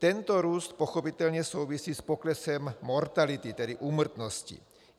Tento růst pochopitelně souvisí s poklesem mortality, tedy úmrtnosti.